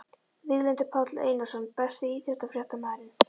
Víglundur Páll Einarsson Besti íþróttafréttamaðurinn?